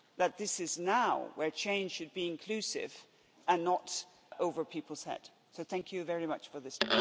that this is now where change should be inclusive and not over people's head, so thank you very much for this.